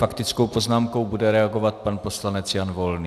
Faktickou poznámkou bude reagovat pan poslanec Jan Volný.